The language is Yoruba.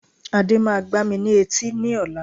Ade máa gbá mi ní etí ní ọ̀la